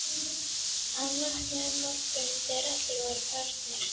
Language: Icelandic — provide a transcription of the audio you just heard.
Að vakna um morguninn þegar allir voru farnir!